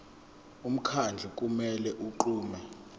umkhandlu kumele unqume